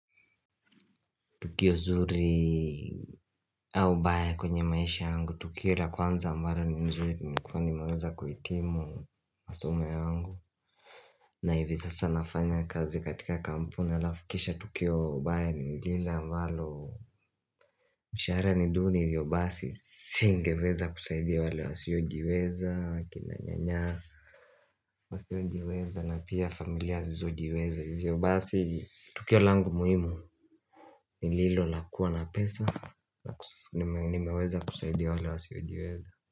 Tukio zuri au baya kwenye maisha yangu, tukio la kwanza ambalo ni nzuri Nilikuwa nimeweza kuhitimu masomo yangu na hivi zasa nafanya kazi katika kampuni alafu kisha tukio baya ni lile ambalo Mshahara ni duni hivyo basi Singeweza kusaidia wale wasiojiweza akina nyanya wasiojiweza na pia familia zizojiweza Hivyo basi Tukio langu muhimu ni lilo la kuwa na pesa nimeweza kusaidia wale wasiojiweza.